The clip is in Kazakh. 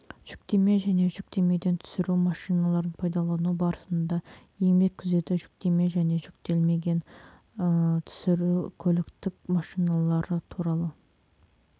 жүктеме және жүктемеден түсіру машиналарын пайдалану барысында еңбек күзеті жүктеме және жүктемелен түсіру көліктік машиналар туралы